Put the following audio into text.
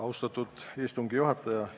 Austatud istungi juhataja!